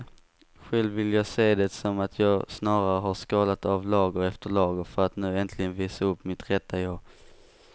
Själv vill jag se det som att jag snarare har skalat av lager efter lager för att nu äntligen visa upp mitt rätta jag.